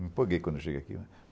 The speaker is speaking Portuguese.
Me empolguei quando cheguei aqui.